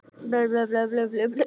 Donni, hvaða stoppistöð er næst mér?